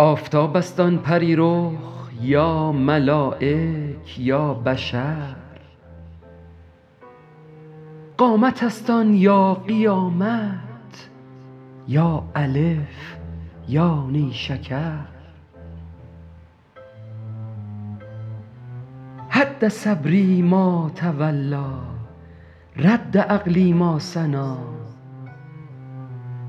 آفتاب است آن پری رخ یا ملایک یا بشر قامت است آن یا قیامت یا الف یا نیشکر هد صبری ما تولیٰ رد عقلی ما ثنیٰ